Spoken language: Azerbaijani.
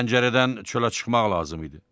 Pəncərədən çölə çıxmaq lazım idi.